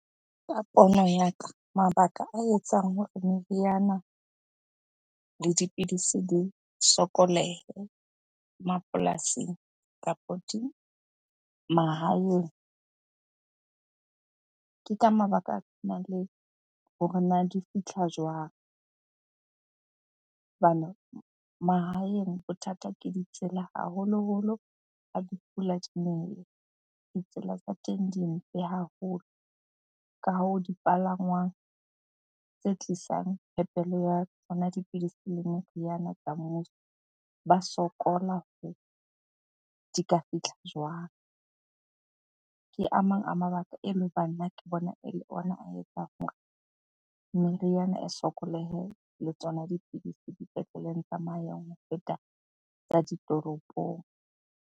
Ka pono ya ka, mabaka a etsang hore meriana le dipidisi di sokolohe mapolasing kapa mahaeng. Ke ka mabaka a le hore na di fitlha jwang? Hobane mahaeng bothata ke ditsela, haholoholo ha di pula di nele, ditsela tsa teng di mpe haholo. Ka hoo dipalangwang tse tlisang phepelo ya tsona dipidisi le meriana tsa mmuso, ba sokola di ka fitlha jwang? Ke a mang a mabaka ele hoba nna ke bona ele ona a etsang hore meriana e sokolohe le tsona dipidisi dipetleleng tsa ho feta tsa ditoropong.